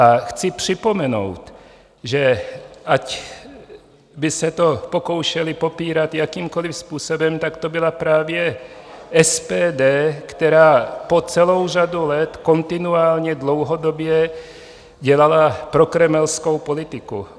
A chci připomenout, že ať by se to pokoušeli popírat jakýmkoliv způsobem, tak to byla právě SPD, která po celou řadu let kontinuálně dlouhodobě dělala prokremelskou politiku.